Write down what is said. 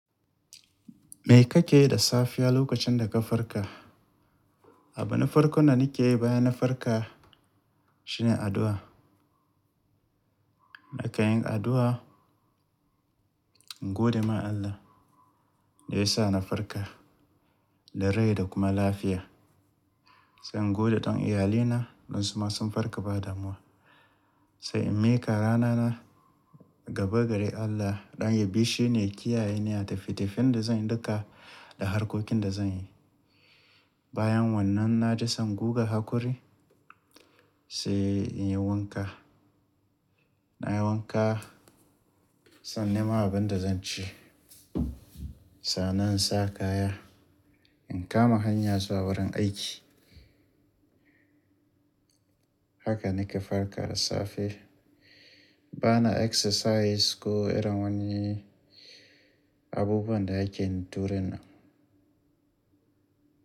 Me kake yi da safiya lokacin da ka farka? Abin farko na nake yi bayan na farka shine addu'a. Na kai yin addu'a, in gode ma Allah da ya sa na farka da rai da kuma lafiya. Sai in gode don iyalina don su ma sun farka ba damuwa. Sai in miƙa ranana ga bagade Allah don ya bi shi ne kiyaye ni a tafiye-tafiyen da zan yi duka da harkokin da zan yi. Bayan wannan na ji zan guga haƙuri sai in yi wanka. Na yi wanka, sannan nima abin da zan ci. Sannan in sa kaya, in kama hanya zuwa wurin aiki. Haka nike farka da safe. Bana exercise ko irin wani abubuwan da ake yin tureni.